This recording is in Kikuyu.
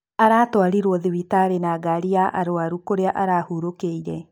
Aratwarirwo thibitarĩ ya na gari ya arwaru kũrĩa arahurũkĩire.